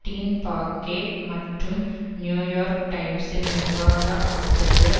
dean Baquet மற்றும் New York டைம்சின் நிர்வாக ஆசிரியர்